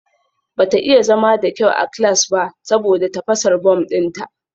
Bata iya zama da kyau a class ba saboda tafasar bom dinta